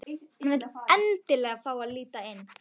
Hann vill endilega fá að líta inn.